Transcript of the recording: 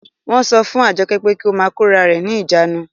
Wọ́n sọ fún Àjọkẹ́ pé kí ó máa kórarẹ̀ ní ìjánu